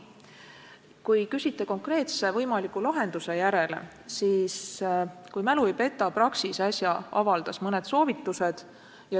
Kui te küsite konkreetse võimaliku lahenduse kohta, siis kui mu mälu mind ei peta, avaldas Praxis äsja mõned soovitused.